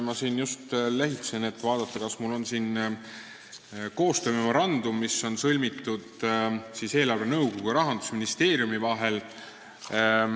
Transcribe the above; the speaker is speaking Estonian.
Ma just lehitsen pabereid, et näha, kas mul on siin kaasas koostöömemorandum, mis on sõlmitud eelarvenõukogu ja Rahandusministeeriumi vahel.